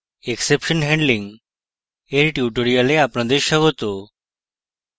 exception handling এর tutorial আপনাদের স্বাগত